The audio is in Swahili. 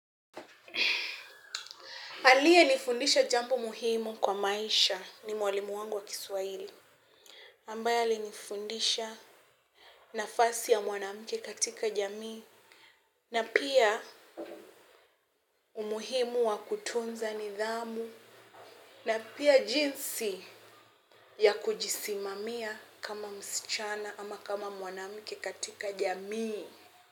Aliyenifundisha jambo muhimu kwa maisha ni mwalimu wangu wa Kiswahili ambaye alinifundisha nafasi ya mwanamke katika jamii na pia umuhimu wa kutunza nidhamu na pia jinsi ya kujisimamia kama msichana ama kama mwanamke katika jamii.